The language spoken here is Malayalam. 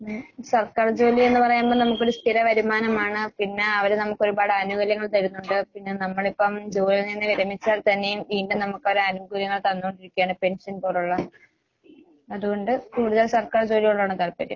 ഏഹ് സർക്കാർ ജോലിയെന്ന് പറയുമ്പ നമുക്കൊരു സ്ഥിര വരുമാനമാണ്. പിന്നെ അവര് നമുക്കൊരുപാട് ആനുകൂല്യങ്ങള് തരുന്നൊണ്ട്. പിന്നെ നമ്മളിപ്പം ജോലിയിൽ നിന്ന് വിരമിച്ചാൽ തന്നെയും വീണ്ടും നമുക്കവർ ആനുകൂല്യങ്ങൾ തന്നുകൊണ്ടിരിക്കാണ്, പെൻഷൻ പോലൊള്ള. അതുകൊണ്ട് കൂടുതൽ സർക്കാർ ജോലിയോടാണ് താൽപര്യം.